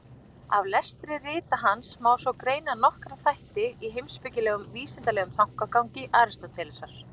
Af lestri rita hans má svo greina nokkra þætti í heimspekilegum og vísindalegum þankagangi Aristótelesar.